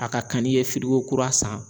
A ka kan n'i ye kura san